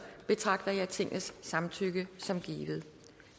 betragter jeg tingets samtykke som givet